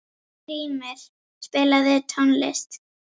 Skrýmir, spilaðu tónlist.